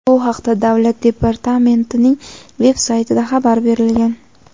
Bu haqda Davlat departamentining veb-saytida xabar berilgan.